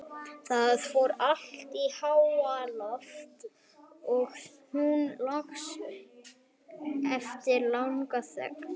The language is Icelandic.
Það fór allt í háaloft, sagði hún loks eftir langa þögn.